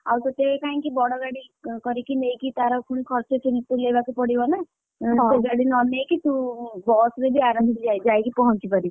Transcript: ଆଉ ତତେ କାଇଁକି ବଡ ଗାଡି କରିକି ନେଇକି ତାର ଖର୍ଚ୍ଚ ତୁଲେଇବାକୁ ପଡିବ ନା, ବଡ ନ ନେଇକି ତୁ ବସ ରେ ବି ଆରାମରେ ଯାଇକି ପହଞ୍ଚି ପାରିବୁ।